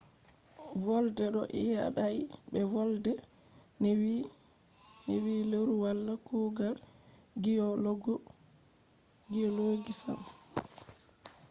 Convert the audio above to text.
volde ɗo yaadai be volde ne vi leuru wala kugal giyologi sam